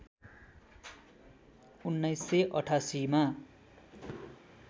१९८८ मा